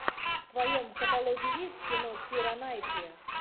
в твоем каталоге есть кино кира найтли